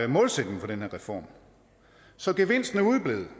målsætningen for den her reform så gevinsten er udeblevet